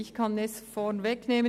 Ich kann es vorwegnehmen: